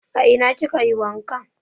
A ina ki kayi wanka?